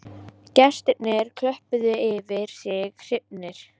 Gestirnir klöppuðu yfir sig hrifnir